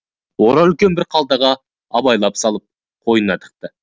оны үлкен бір қалтаға абайлап салып қойнына тықты